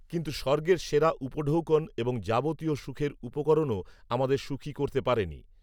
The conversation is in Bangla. কিন্তু স্বর্গের সেরা উপঢৌকন এবং যাবতীয় সুখের উপকরণও আমাদের সুখী করতে পারে নি